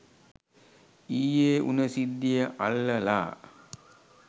ඊයේ උන සිද්දිය අල්ලලා